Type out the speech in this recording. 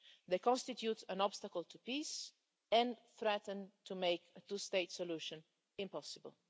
They constitute an obstacle to peace and threaten to make a two-state solution impossible.